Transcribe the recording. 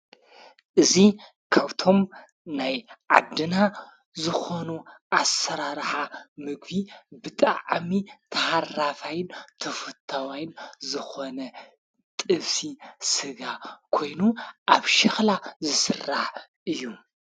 እዙ ካውቶብ ናይ ዓድና ዝኾኑ ኣሠራርሓ ምግ ብጥዓሚ ተሓራፋይን ተፈታዋይን ዘኾነ ጥብሲ ሥጋ ኮይኑ ኣብ ሽኽላ ዝስራሕ እዩ።